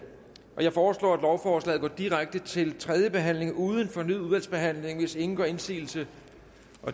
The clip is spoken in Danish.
jeg foreslår at lovforslaget går direkte til tredje behandling uden fornyet udvalgsbehandling hvis ingen gør indsigelse